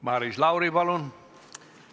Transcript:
Maris Lauri, palun!